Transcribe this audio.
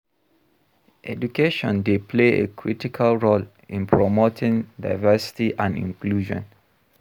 Education dey play a critical role in promoting diversity and inclusion.